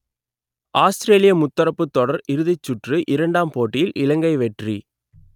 ஆஸ்த்திரேலிய முத்தரப்புத் தொடர் இறுதிச் சுற்று இரண்டாம் போட்டியில் இலங்கை வெற்றி